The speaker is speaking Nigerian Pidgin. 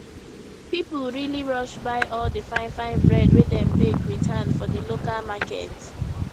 people really rush buy all the fine fine bread wey dem bake with hand for di local market